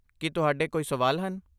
ਕੀ ਤੁਹਾਡੇ ਕੋਈ ਸਵਾਲ ਹਨ?